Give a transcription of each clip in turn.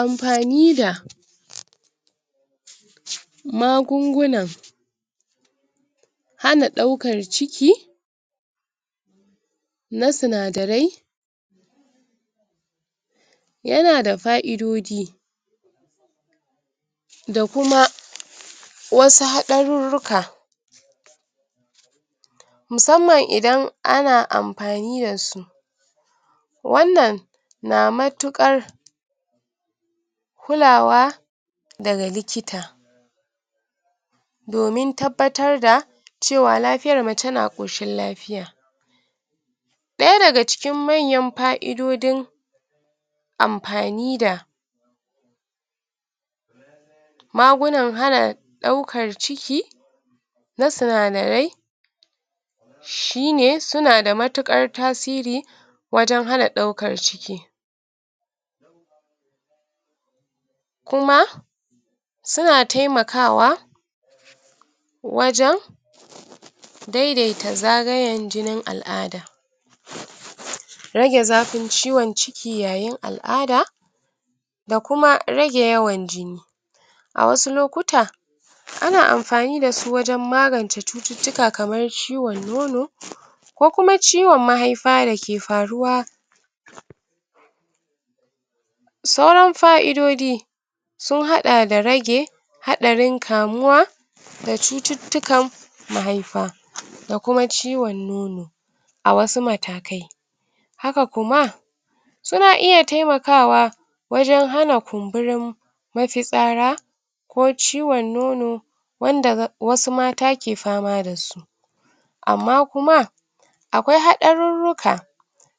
Amfani da magungunar hana ɗaukar ciki na sinadarai yana da fa'idodi da kuma wasa haɗararuka musamman idan ana amfani da su wannan na mutukar kulawa daga likita domin tabbatar da lafiyar mace na koshin lafiya ɗaya daga cikin manyan fa'idojin amfani da magunan hana ɗaukar ciki na sinadarai shi ne suna da matukar tasiri wajan hana ɗaukar ciki kuma suna taimakawa wajan daidaita zagayan jinin al'ada rage zafin ciwon ciki yayin al'ada da kuma rage yawan jini a wasu lokutan ana amfani dasu wajan magance cuttutuka kamar ciwon nono ko kuma ciwon mahaifa dake faruwa sauran fa'idodi sun haɗa da rage haɗarin kamuwa da cuttutuka mahaifa da kuma ciwon nono a wasu matakai haka kuma suna iya taimakawa wajan hana kumburin mafitsara ko ciwon nono wanda wasu mata ke fama dasu amma kuma akwai haɗaruruka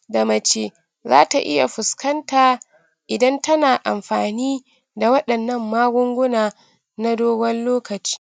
da mace za ta iya fuskanta idan tana amfani da wandannan magunguna na dogon lokaci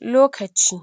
lokaci